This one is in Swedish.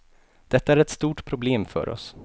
Detta är ett stort problem för oss.